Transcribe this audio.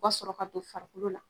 U ka sɔrɔ ka don farikolo la.